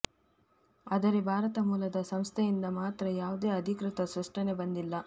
ಆದರೆ ಭಾರತ ಮೂಲದ ಸಂಸ್ಥೆಯಿಂದ ಮಾತ್ರ ಯಾವುದೇ ಅಧಿಕೃತ ಸ್ಪಷ್ಟನೆ ಬಂದಿಲ್ಲ